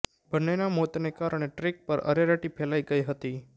બંનેના મોતને કારણે ટ્રેક પર અરેરાટી ફેલાઈ ગઈ હતી